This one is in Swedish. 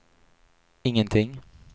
ingenting